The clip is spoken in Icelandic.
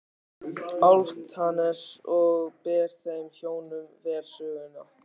Álftanes og bar þeim hjónum vel söguna.